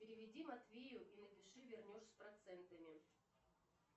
переведи матвею и напиши вернешь с процентами